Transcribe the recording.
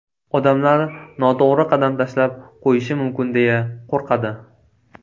Odamlar noto‘g‘ri qadam tashlab qo‘yishim mumkin deya qo‘rqadi.